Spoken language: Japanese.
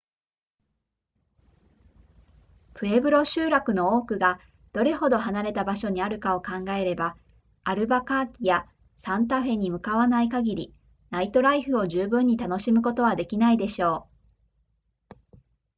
プエブロ集落の多くがどれほど離れた場所にあるかを考えればアルバカーキやサンタフェに向かわない限りナイトライフを十分に楽しむことはできないでしょう